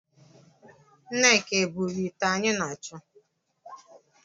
Nneka e buru ite anyị na-acho?